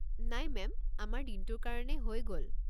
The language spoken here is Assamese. নাই মেম, আমাৰ দিনটোৰ কাৰণে হৈ গ'ল।